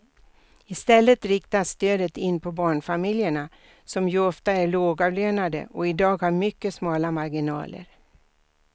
I stället riktas stödet in på barnfamiljerna som ju ofta är lågavlönade och i dag har mycket smala marginaler.